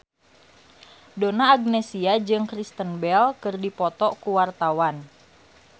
Donna Agnesia jeung Kristen Bell keur dipoto ku wartawan